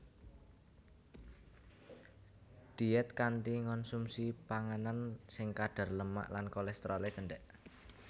Diét kanthi ngonsumsi panganan sing kadar lemak lan kolésterolé cendhék